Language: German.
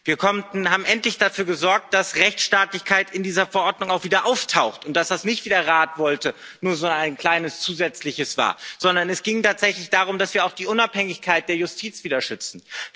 Wir haben endlich dafür gesorgt, dass Rechtsstaatlichkeit in dieser Verordnung auch wieder auftaucht und dass das nicht, wie der Rat wollte, nur so ein kleiner Zusatz war, sondern es ging tatsächlich darum, dass wir auch die Unabhängigkeit der Justiz wieder schützen.